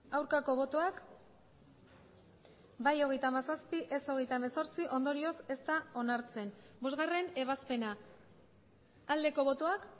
aurkako botoak bai hogeita hamazazpi ez hogeita hemezortzi ondorioz ez da onartzen bosgarren ebazpena aldeko botoak